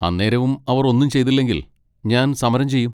അന്നേരവും അവർ ഒന്നും ചെയ്തില്ലെങ്കിൽ, ഞാൻ സമരം ചെയ്യും.